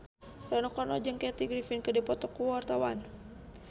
Rano Karno jeung Kathy Griffin keur dipoto ku wartawan